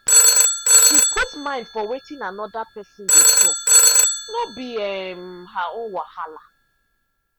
she put mind for wetin another person dey talk no be um her own wahala.